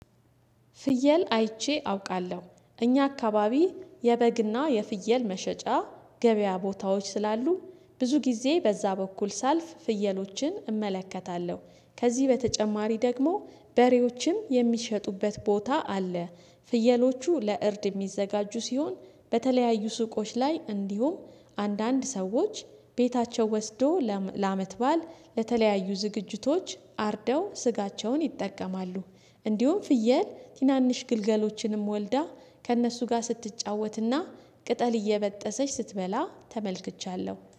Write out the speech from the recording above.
ፍየል አይቼ አውቃለሁ እኛ አካባቢ የበግና የፍየል መሸጫ ገበያ ቦታዎች ስላሉ ብዙ ጊዜ በዛ በኩል ሳልፍ ፍየሎችን እመለከታለሁ ከዚህ በተጨማሪ ደግሞ በሬዎችም የሚሸጡበት ቦታ አለ ፍየሎቹ ለእርድ የሚዘጋጁ ሲሆን በተለያዩ ሱቆች ላይ እንዲሁም አንዳንድ ሰዎች ቤታቸው ወስዶ ለአመት ባል ለተለያዩ ዝግጅቶች አርደው ስጋቸውን ይጠቀማሉ። እንዲሁም ፍየል ቲናንሽ ግልገሎችንም ወልዳ ከእነሱ ጋር ስትጫወትና ቅጠል እየበጠሰች ስትበላ ተመልክቻለሁ